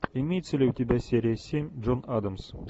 имеется ли у тебя серия семь джон адамс